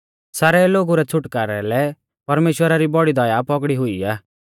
सारै लोगु रै छ़ुटकारै लै परमेश्‍वरा री बौड़ी दया पौगड़ी हुई आ